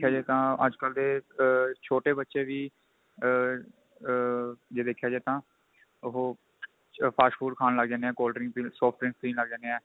ਜਾਏ ਤਾਂ ਅੱਜਕਲ ਦੇ ਛੋਟੇ ਬੱਚੇ ਵੀ ਆ ਆ ਜੇ ਦੇਖਿਆ ਜਾਏ ਤਾਂ ਉਹ fast food ਖਾਂ ਲੱਗ ਜਾਂਦੇ ਏ cold drink ਪੀਣ soft drink ਪੀਣ ਲੱਗ ਜਾਂਦੇ ਏ